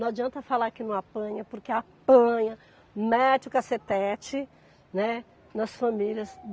Não adianta falar que não apanha, porque apanha, mete o cacetete, né, nas famílias.